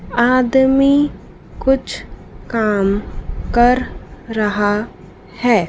आदमी कुछ काम कर रहा है।